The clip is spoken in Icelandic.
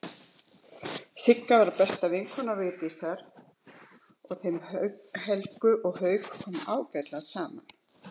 Sigga var besta vinkona Vigdísar og þeim Helga og Hauki kom ágætlega saman.